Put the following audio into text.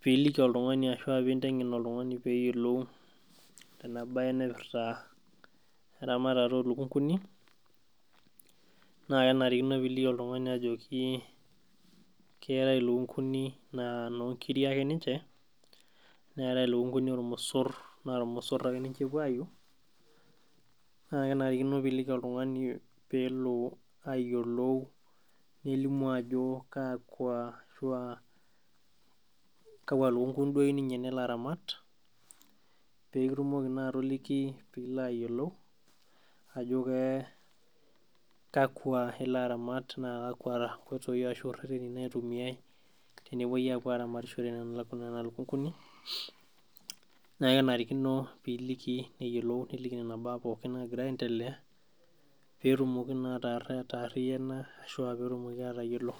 piiliki oltung'ani ashua pinteng'en oltung'ani peyiolou ena naye naipirta eramatata olukunguni naa kenarikino piliki oltung'ani ajoki keetae ilukunguni naa inonkiri ake ninche neetae ilukunguni ormosorr naa irmosorr ake ninche epuo aiu naa kenarikino piliki oltung'ani peelo ayiolou nelimu ajo kakwa ashua kakwa lukunguni duo eyiu ninye nelo aramat pekitumoki naa atoliki piilo ayiolou ajo ke kakwa ilo aramat naa kakwa inkoitoi ashu irreteni naitumiae tenepuoi apuo aramatishore nena kuna lukunguni naa kenarikino piliki neyiolou niliki nena baa pookin naagira aendelea petumoki naa atarr atarriyiana ashua petumoki atayiolo.